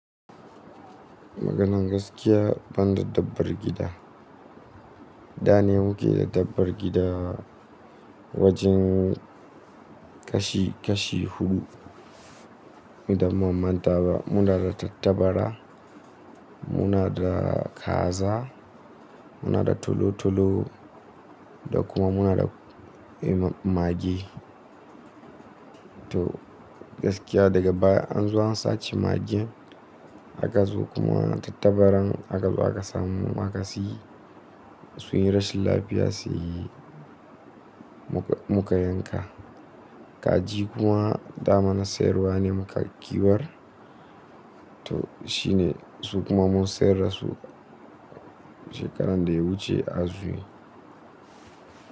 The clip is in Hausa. Maganan gaskiya, ban da dabbar gida. Da ne muke da dabbar gida wajen kashi kashi huɗu. Idan ban manta ba, muna da tattabara, muna da kaza, muna da tolo tolo da kuma muna da eh mage. To gaskiya daga baya an zo an sace mage aka zo kuma tattabaran aka zo aka samu aka siyi. Sun yi rashin lafiya sai muka yanka. Kaji kuma da mana sayarwa ne muka ƙiwar. To shi ne su kuma mun sayar da su shekaran da ya wuce a zuwi.